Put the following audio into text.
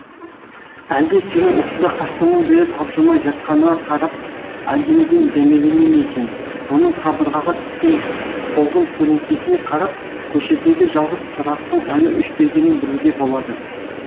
әлде сенің осында қашаннан бері тапжылмай жатқаныңа қарап әлденеден дәмелене ме екен оның қабырғаға түскен солғын көлеңкесіне қарап көшедегі жалғыз шырақтың әлі өшпегенін білуге болады